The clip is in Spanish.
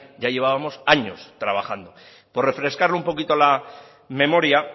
ya llevábamos años trabajando por refrescarle un poquito la memoria